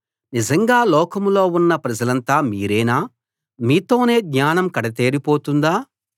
నిజంగా లోకంలో ఉన్న ప్రజలంతా మీరేనా మీతోనే జ్ఞానం కడతేరి పోతుందా